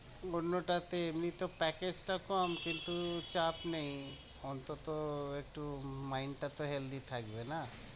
অন্যটাতে এমনি তো package টা কম কিন্তু চাপ নেই, অন্তত একটু mind টা তো healthy থাকবে না?